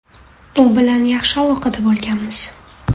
U bilan yaxshi aloqada bo‘lganmiz.